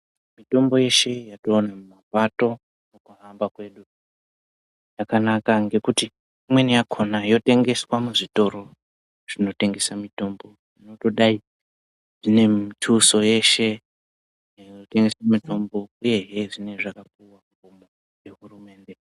Mitombo yeshe yetinoona mumapato mukuhamba kwedu yakanaka ngekuti imweni yakhona yotengeswa muzvitoro zvinotengese mitombo zvinotodai ine mituso yeshe inotengese mitombo uyehe zvinenge zvakapuwa kugomo nehurumende.